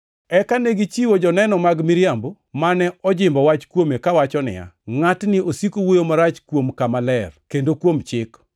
Eka negichiwo joneno mag miriambo, mane ojimbo wach kuome kawacho niya, “Ngʼatni osiko wuoyo marach kuom kama ler, kendo kuom Chik.